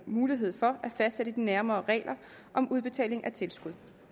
mulighed for at fastsætte de nærmere regler om udbetaling af tilskud